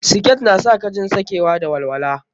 Siket na sa ka jin sakewa da walwala.